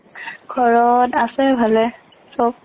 ঘৰত আছে ভালে, চৱ ।